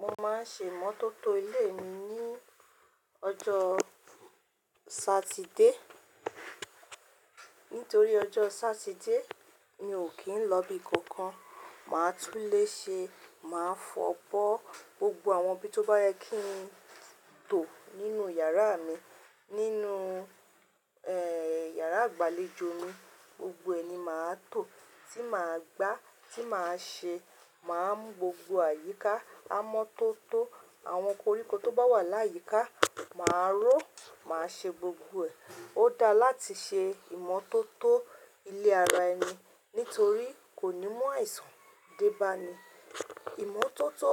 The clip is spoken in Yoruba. Mo máa ń ṣe ìmọ́tótó ilé mi ní ọjọ́ Sátidé. Nítorí ọjọ́ Sátidé mi ò kí ń lọ ibi kankan. Màá tún lè ṣe, màá fọ̀ bọ́ gbogbo àwọn ibi tó bá yẹ kí n tó nínú yàrá mi, nínú, ẹ́, yàrá ìgbàlejò mi, gbogbo ẹ̀ ni màá tò. Tí màá gbá, tí màá ṣe, màá mú gbogbo àyíká, amọ́tótó, àwọn koríko tó bá wà láyíkà, màá ró, màá ṣe gbogbo ẹ̀. Ó dáa láti ṣe ìmọ́tótó ilé ara ẹni nítorí kò ní mú àìsàn dé bá ni. Ìmọ́tótó